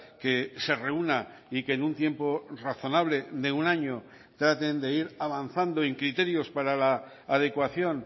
que se reúna y que en un tiempo razonable de un año traten de ir avanzando en criterios para la adecuación